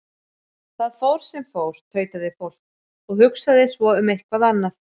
Það fór sem fór, tautaði fólk, og hugsaði svo um eitthvað annað.